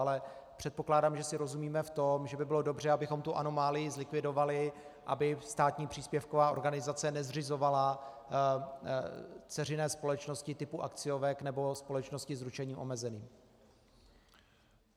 Ale předpokládám, že si rozumíme v tom, že by bylo dobře, abychom tu anomálii zlikvidovali, aby státní příspěvková organizace nezřizovala dceřiné společnosti typu akciovek nebo společností s ručením omezeným.